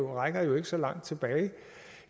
rækker jo ikke så langt tilbage